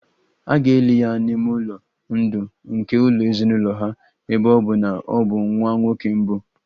A ga-eli ya n'ime ụlọ ndụ nke ụlọ ezinụlọ ha, ebe ọ bụ na ọ bụ nwa nwoke mbụ